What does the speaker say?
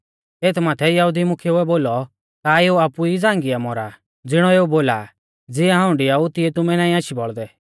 एथ माथै यहुदी मुख्येउऐ बोलौ का एऊ आपु ई झ़ांगिया मौरा ज़िणौ एऊ बोला आ ज़िऐ हाऊं डिआऊ तिऐ तुमै नाईं आशी बौल़दै